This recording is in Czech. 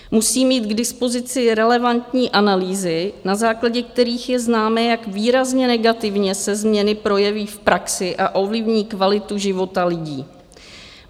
Musí mít k dispozici relevantní analýzy, na základě kterých je známé, jak výrazně negativně se změny projeví v praxi a ovlivní kvalitu života lidí.